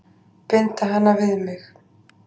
Binda hana við mig.